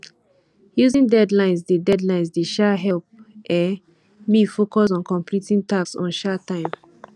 using deadlines dey deadlines dey um help um me focus on completing tasks on um time